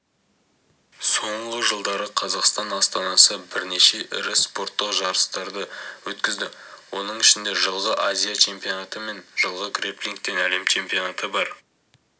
соңғы жылдары қазақстан астанасы бірнеше ірі спорттық жарыстарды өткізді оның ішінде жылғы азия чемпионаты мен жылғы грэпплингтен әлем чемпионаты бар